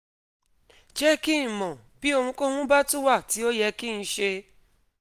jẹ́ kí n mọ̀ bí ohunkóhun bá tún wà tí ó yẹ kí n ṣe